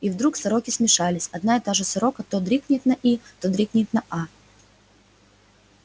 и вдруг сороки смешались одна и та же сорока то дрикнет на и то дрикнет на а